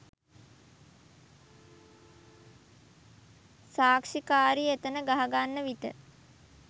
සාක්ෂිකාරිය එතැන ගහගන්න විට